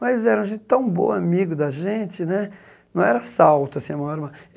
Mas eles eram gente tão boa amigo da gente né, não era assalto assim à mão